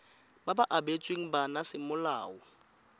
ba ba abetsweng bana semolao